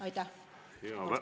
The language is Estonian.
Aitäh!